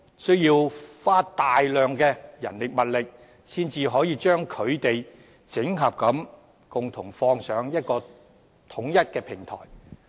需要花大量的人力物力，才可以將其整合，上載至統一的平台。